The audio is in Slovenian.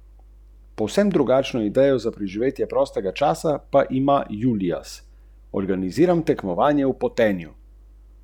Polovico mila naribajte in pomešajte s tremi decilitri vode.